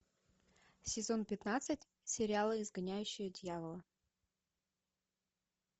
сезон пятнадцать сериала изгоняющий дьявола